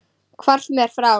Hvarfst mér frá.